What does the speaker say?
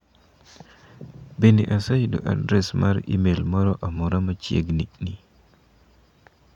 Bende aseyudo adres mar imel moro amora machiegni ni?